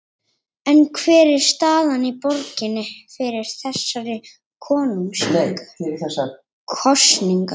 En hver er staðan í borginni fyrir þessar kosningar?